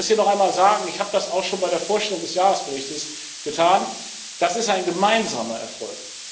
Ich will das hier noch einmal sagen, ich habe das auch schon bei der Vorstellung des Jahresberichts getan Das ist ein gemeinsamer Erfolg.